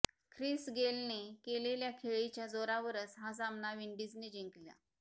Chris गेलने केलेल्या खेळीच्या जोरावरच हा सामना विंडिजने जिंकला